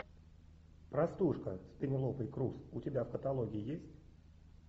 простушка с пенелопой крус у тебя в каталоге есть